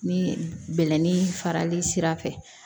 Ni bɛlɛnin farali sira fɛ